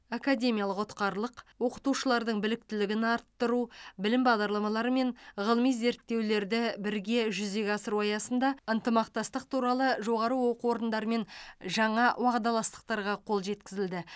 академиялық ұтқырлық оқытушылардың біліктілігін арттыру білім бағдарламалары мен ғылыми зерттеулерді бірге жүзеге асыру аясында ынтымақтастық туралы жоғары оқу орындарымен жаңа уағдаластықтарға қол жеткізілді